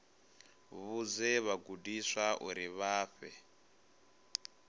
vhudze vhagudiswa uri vha fhe